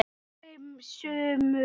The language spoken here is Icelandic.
Fimm sumur